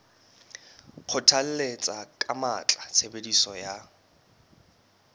kgothalletsa ka matla tshebediso ya